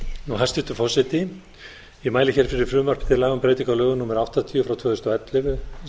hæstvirtur forseti ég mæli fyrir frumvarpi til laga um breytingu á lögum númer áttatíu tvö þúsund og ellefu